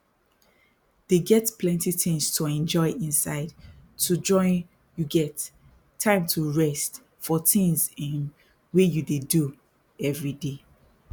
dey get plenty tins to enjoy inside to join you get time to rest for tins um wey you dey do everyday